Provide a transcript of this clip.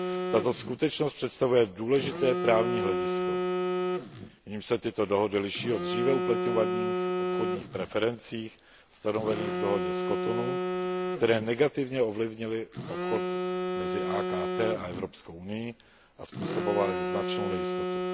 Tato skutečnost představuje důležité právní hledisko, jímž se tyto dohody liší od dříve uplatňovaných obchodních preferencí stanovených v dohodě z Cotonou, které negativně ovlivnily obchod mezi AKT a Evropskou unií a způsobovaly značnou nejistotu.